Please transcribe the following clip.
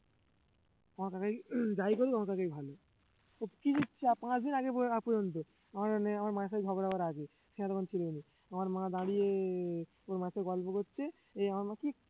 আমার কাকাই যাই করুক আমার কাকাই ভালো তো পাঁচ দিন আগে পর্যন্ত আগ পর্যন্ত আমাদের মেয়ে আমার মায়ের সাথে ঝগড়া হওয়ার আগে ছানা তখন ছিল না আমার মা দাঁড়িয়ে ওর মায়ের সাথে গল্প করছে এই আমার মা কি